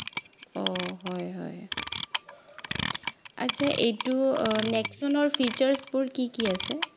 অ হয় হয়, আচ্ছা এইটো আহ নেক্সনৰ features বোৰ কি কি আছে